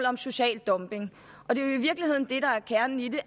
om social dumping kernen i det